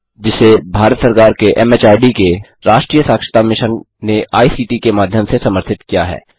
जिसे भारत सरकार के एमएचआरडी के राष्ट्रीय साक्षरता मिशन ने आई सीटी के माध्यम से समर्थित किया है